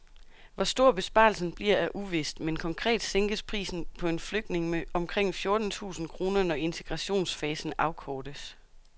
Hvor stor besparelsen bliver er uvist, men konkret sænkes prisen på en flygtning med omkring fjorten tusind kroner, når integrationsfasen afkortes.